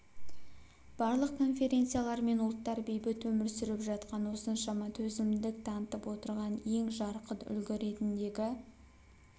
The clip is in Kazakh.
барлық конфессиялар мен ұлттар бейбіт өмір сүріп жатқан осыншама төзімділік танытып отырған ең жарқын үлгі ретіндегі